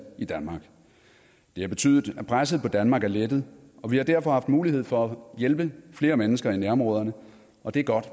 i danmark det har betydet at presset på danmark er lettet og vi har derfor haft mulighed for at hjælpe flere mennesker i nærområderne og det er godt